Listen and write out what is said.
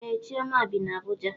Ee chioma bi na Abuja.